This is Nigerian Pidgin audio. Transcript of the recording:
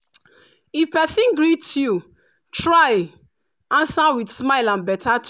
if persin greet you try answer with smile and beta